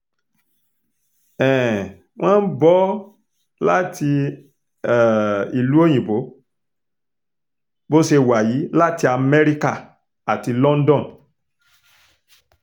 um wọ́n ń bọ́ ọ láti um ìlú òyìnbó bó ṣe wà yìí láti amẹ́ríkà àti london